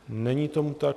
Není tomu tak.